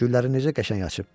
Güllərin necə qəşəng açıb.